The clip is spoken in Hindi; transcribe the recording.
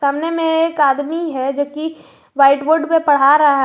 सामने में एक आदमी है जो कि व्हाइट बोर्ड पे पडा रहा है।